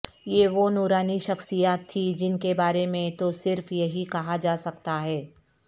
یہ وہ نورانی شخصیات تھیں جن کے بارے میں تو صرف یہی کہا جاسکتا ہے